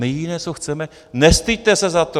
My jediné, co chceme: Nestyďte se za to.